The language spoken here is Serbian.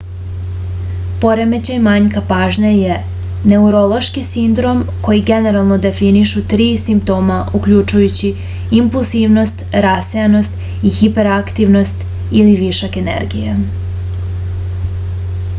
poremećaj manjka pažnje je neurološki sindrom koji generalno definišu tri simptoma uključujući impulsivnost rasejanost i hiperaktivnost ili višak energije